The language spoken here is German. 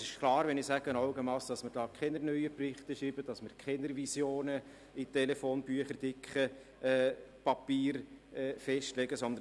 Wenn ich «Augenmass» sage, ist klar, dass wir dazu keine neuen Berichte schreiben werden, keine Visionen in Papieren, so dick wie Bücher, festlegen werden.